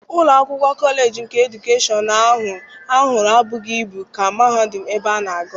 Ụlọ akwụkwọ kọleji nke edukeshọn ahụ ha hụrụ ebughị ibu ka mahadum ebe ha na-agụ.